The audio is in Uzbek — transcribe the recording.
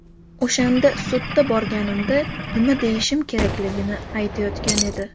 O‘shanda sudda borganimda nima deyishim kerakligini aytayotgan edi.